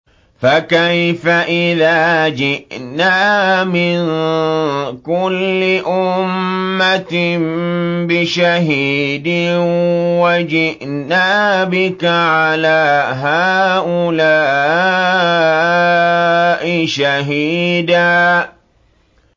فَكَيْفَ إِذَا جِئْنَا مِن كُلِّ أُمَّةٍ بِشَهِيدٍ وَجِئْنَا بِكَ عَلَىٰ هَٰؤُلَاءِ شَهِيدًا